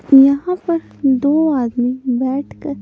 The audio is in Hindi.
यहां पर दो आदमी बैठकर--